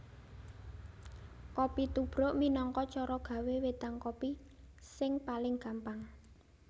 Kopi tubruk minangka cara gawé wédang kopi sing paling gampang